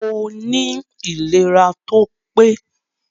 Moní ìléra tópé